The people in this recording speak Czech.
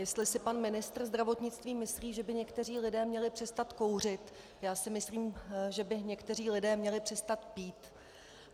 Jestli si pan ministr zdravotnictví myslí, že by někteří lidé měli přestat kouřit, já si myslím, že by někteří lidé měli přestat pít.